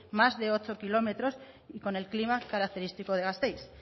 más de ocho kilómetros y con el clima característico de gasteiz